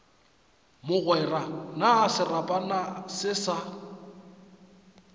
mogwera na serapana se sa